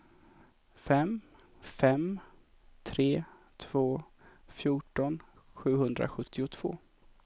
fem fem tre två fjorton sjuhundrasjuttiotvå